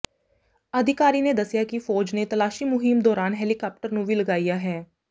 ਅਧਿਕਾਰੀ ਨੇ ਦਸਿਆ ਕਿ ਫ਼ੌਜ ਨੇ ਤਲਾਸ਼ੀ ਮੁਹਿੰਮ ਦੌਰਾਨ ਹੈਲੀਕਾਪਟਰ ਨੂੰ ਵੀ ਲਗਾਇਆ ਹੈ